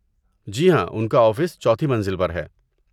جی ہاں، ان کا آفس چوتھی منزل پر ہے۔